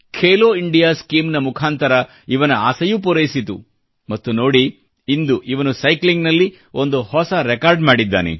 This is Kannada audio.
ಖೇಲೋ ಇಂಡಿಯಾ ಸ್ಕೀಮ್ನ ಮುಖಾಂತರ ಇವನ ಆಸೆಯೂ ಪೂರೈಸಿತು ಮತ್ತು ನೋಡಿ ಇಂದು ಇವನು ಸೈಕ್ಲಿಂಗ್ನಲ್ಲಿ ಒಂದು ಹೊಸ ರೆಕಾರ್ಡ್ ಮಾಡಿದ್ದಾನೆ